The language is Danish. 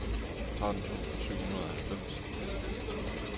tretten tusind syv hundrede og halvfems